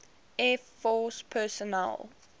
air force personnel